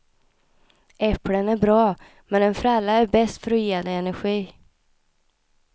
Äpplen är bra, men en fralla är bäst för att ge dig energi.